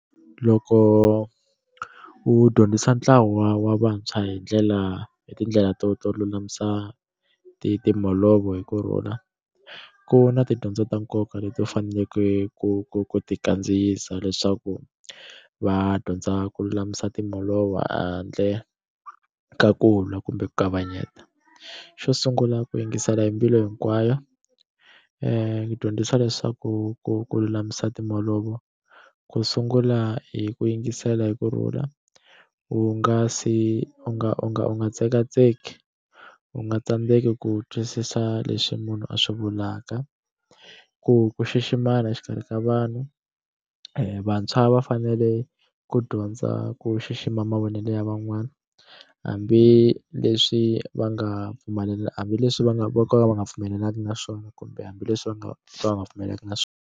Loko u dyondzisa ntlawa wa vantshwa hi ndlela hi tindlela to to lulamisa timholovo hi ku rhula ku na tidyondzo ta nkoka leti u faneleke ku ku ku ti kandziyisa leswaku va dyondza ku lulamisa timholovo handle ka ku lwa kumbe ku kavanyeta xo sungula ku yingisela hi mbilu hinkwayo ku dyondzisa leswaku ku ku lulamisa timholovo ku sungula hi ku yingisela hi ku rhula u nga se u nga u nga u nga tsekatseki u nga tsandzeki ku twisisa leswi munhu a swi vulaka ku ku xiximana exikarhi ka vanhu vantshwa va fanele ku dyondza ku xixima mavonele ya van'wani hambileswi va nga hambileswi va nga vo ka va nga pfumelelani na swona kumbe hambileswi va nga va nga pfumelelani na swona.